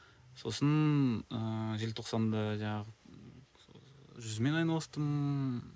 сосын ыыы желтоқсанда жаңағы жүзумен айналыстым